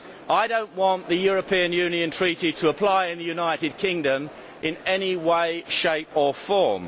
I do not want the European Union Treaty to apply in the United Kingdom in any way, shape or form.